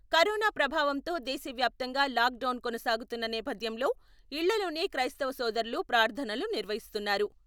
Corona ప్రభావంతో దేశ వ్యాప్తంగా లాక్డౌన్ కొనసాగుతున్న నేపథ్యంలో ఇళ్లల్లోనే క్రైస్తవ సోదరులు ప్రార్ధనలు నిర్వహిస్తున్నారు.